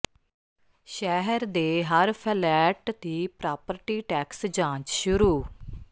ਸ਼ਹਿਰ ਦੇ ਹਰ ਫਲੈਟ ਦੀ ਪ੍ਰਾਪਰਟੀ ਟੈਕਸ ਜਾਂਚ ਸ਼ੁਰੂ